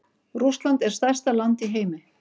Rússland er stærsta land í heimi.